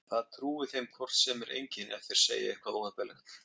Það trúi þeim hvort sem er enginn ef þeir segja eitthvað óheppilegt.